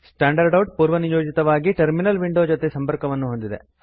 standard out ಪೂರ್ವನಿಯೋಜಿತವಾಗಿ terminal window ಜೊತೆ ಸಂಪರ್ಕ ಹೊಂದಿದೆ